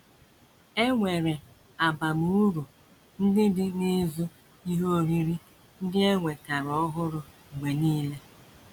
E nwere abamuru ndị dị n’ịzụ ihe oriri ndị e nwetara ọhụrụ mgbe nile